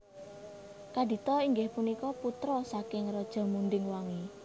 Kadita inggih punika putra saking Raja Munding Wangi